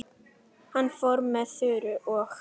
Hann fór með Þuru og